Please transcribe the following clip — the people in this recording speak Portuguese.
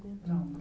Não